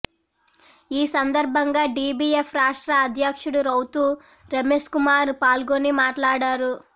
ఈ సందర్భంగా డీబీఎఫ్ రాష్ట్ర అధ్యక్షుడు రౌతు రమేష్కుమార్ పాల్గొని మాట్లాడారు